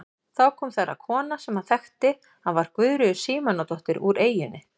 Þá kom þar að kona sem hann þekkti að var Guðríður Símonardóttir úr eyjunni.